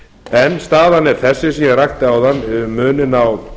en staðan er þessi sem ég rakti áðan um muninn á